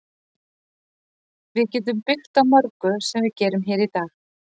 Við getum byggt á mörgu sem við gerum hér í dag.